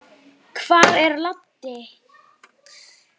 Hvar er Laddi?